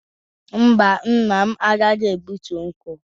Mba, nna m agaghi egbutu nkwu.